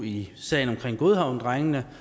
i sagen om godhavnsdrengene